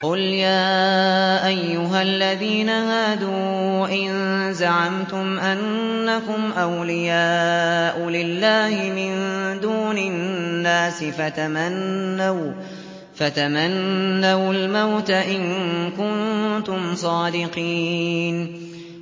قُلْ يَا أَيُّهَا الَّذِينَ هَادُوا إِن زَعَمْتُمْ أَنَّكُمْ أَوْلِيَاءُ لِلَّهِ مِن دُونِ النَّاسِ فَتَمَنَّوُا الْمَوْتَ إِن كُنتُمْ صَادِقِينَ